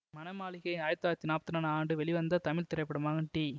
மனமாளிகை ஆயிரத்தி தொள்ளாயிரத்தி நாற்பத்தி இரண்டாம் ஆண்டு வெளிவந்த தமிழ் திரைப்படமாகும் டி